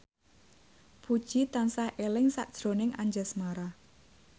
Puji tansah eling sakjroning Anjasmara